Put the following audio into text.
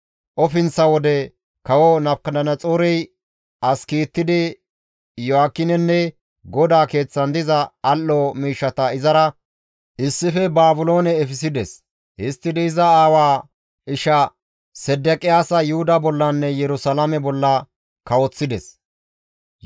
Ofinththa wode Kawo Nabukadanaxoorey as kiittidi Iyo7aakinenne GODAA Keeththan diza al7o miishshata izara issife Baabiloone efissides; histtidi iza aawaa isha Sedeqiyaasa Yuhuda bollanne Yerusalaame bolla kawoththides.